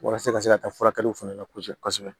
Walasa ka se ka taa furakɛliw fana la kosɛbɛ kosɛbɛ